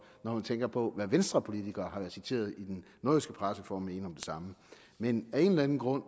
når man tænker på hvad venstrepolitikere har været citeret i den nordjyske presse for at mene om det samme men af en eller anden grund